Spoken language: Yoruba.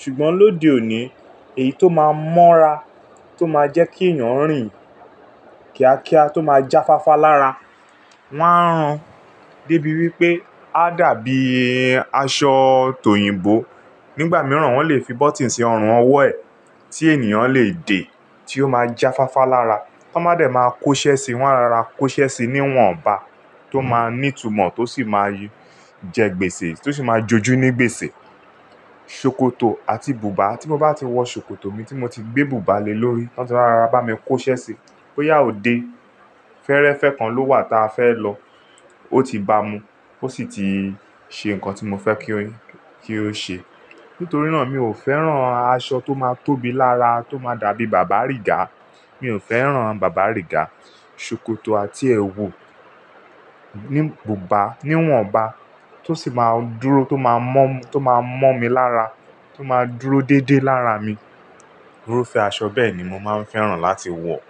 Ṣùgbọ́n lóde òní èyí tó máa mọ́ra, tó máa jẹ́ kí ènìyàn rì́n kíákíá, tó máa jáfáfá lára wọ́n á rán. Débi wípé á dàbí aṣọ tòyìǹbo. Nígbà mìíràn wọ́n lè fi bọ́tìnì sí ọrùn ọwọ́ ẹ̀ tí ènìyàn lè dé tí ó máa jáfáfá lára. Tó báa dẹ̀ máa kóṣẹ́ síi, wọ́n á rara kóṣẹ́ síi níwọ̀nba tó máa ní ìtumọ̀ tó sì máa jẹ gbèsè tó sì máa joju ní gbèsè. Sokoto àti bùbá tí mo bá ti wọ ṣòkòtò mi tí mo ti gbé bùbá le lórí, wọn ti rara bá mi kóṣẹ́ síi. Bo'yá òde. Fẹ́ẹ́rẹ́fẹ́ kan ló wà tí a fẹ́ lọ ó ti bá mu. Ó sì ti ṣe nǹkan tí mo fẹ́ kí ó ṣe. Nítorí náà mi ò fẹ́ràn aṣọ tó máa tóbi lára tó máa dàbí bàbá rìgá. Mi ò fẹ́ràn bàbá rìgá. Sokoto àti ẹwù ní bùbá, níwọ̀nba tó sì máa dúró tó máa mọ́, tó máa mọ́ mi lára tó máa dúró déédéé lára mi. Irúfẹ́ aṣọ bẹ́ẹ̀ ni mo máa ń fẹ́ràn láti wọ̀.